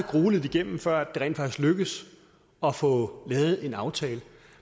grueligt igennem før det rent faktisk lykkedes at få lavet en aftale